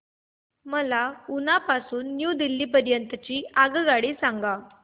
मला उना पासून न्यू दिल्ली पर्यंत ची आगगाडी सांगा